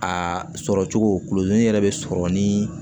A sɔrɔ cogo kulodon yɛrɛ be sɔrɔ nin